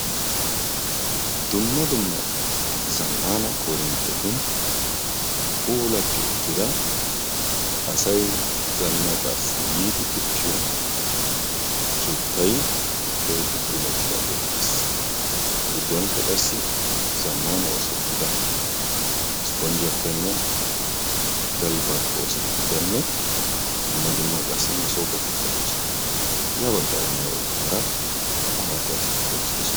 Dumma dumma zaammaana korinttetun asay yiidi uttiyo keettay keehippe puulatidaage de'ees. A giddonkka qassi zammana oosettida isspponjjiyappenne galbaappe oosettidanne dumma dumma qassi moossoopetikka de'oosona. Ya baggaaranne ha baggaara amarida asatikka uttiddossona.